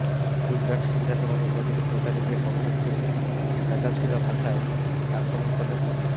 গুজরাট বিধানসভা নির্বাচনের প্রচারে গিয়ে কংগ্রেসকে চাঁচাছোলা ভাষায় আক্রমণ করলেন মোদী